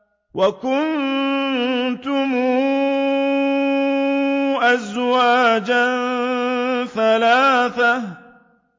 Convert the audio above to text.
وَكُنتُمْ أَزْوَاجًا ثَلَاثَةً